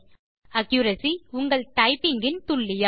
accuracy - உங்கள் typing இன் துல்லியம்